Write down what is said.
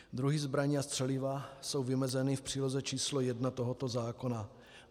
Druhy zbraní a střeliva jsou vymezeny v příloze číslo 1 tohoto zákona.